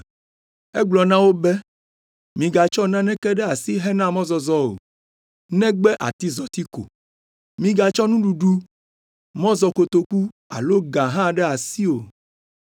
Egblɔ na wo be, “Migatsɔ naneke ɖe asi hena mɔzɔzɔ o, negbe atizɔti ko. Migatsɔ nuɖuɖu, mɔzɔkotoku alo ga hã ɖe asi o.